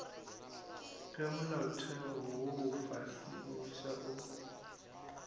ge molaotheo wo mofsa o